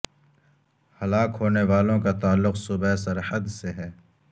ہلاک ہونے والوں کا تعلق صوبہ سرحد سے ہے